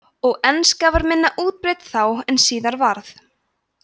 og enska var minna útbreidd þá en síðar varð